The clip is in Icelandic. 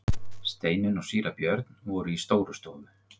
Steinunn og síra Björn voru í Stórustofu.